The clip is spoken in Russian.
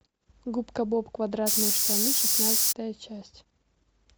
губка боб квадратные штаны шестнадцатая часть